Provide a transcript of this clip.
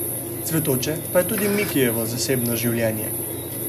Cvetoče pa je tudi Mikijevo zasebno življenje.